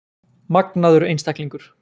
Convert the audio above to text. Magnaður einstaklingur!